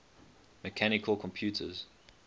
mechanical computers